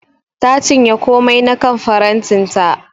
Ta cinye komai na kan farantin ta.